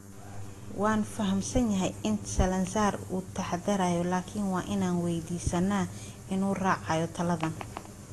Waan fahamsanahay in [Salazar] uu taxadarayo laakiin… waa inaan weydiisannaa inuu raaco taladan.